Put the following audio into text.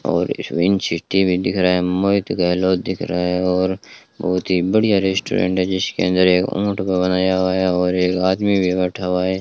और ईश्विन चिश्ती भी दिख रहा है मोहित गहलोत दिख रहा है और बहुत ही बढ़िया रेस्टोरेंट है जिसके अंदर एक ऊंट का बनाया हुआ है और एक आदमी भी बैठा हुआ है।